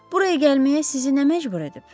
Buraya gəlməyə sizi nə məcbur edib?